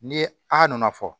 Ni a nana fɔ